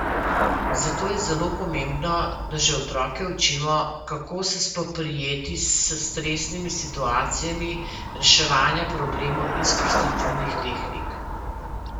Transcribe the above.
Zato je zelo pomembno, da že otroke učimo, kako se spoprijeti s stresnimi situacijami, reševanja problemov in sprostitvenih tehnik.